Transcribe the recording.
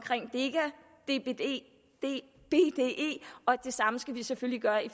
deca bde og det samme skal vi selvfølgelig gøre i